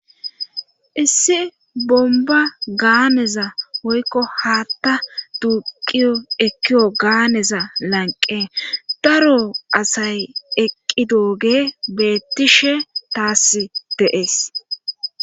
issi bomba gaaneza woykko haatta duuqiyo ekiyo gaaneza lanqe daro asay eqqi dooge beettishe taassi dee'es